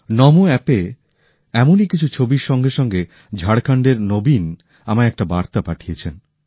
নমো অ্যাপে এমনই কিছু ছবির সঙ্গে সঙ্গে ঝাড়খণ্ডের নবীন আমায় একটা বার্তা পাঠিয়েছেন